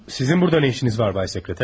Sizin burada nə işiniz var, Bay Sekreter?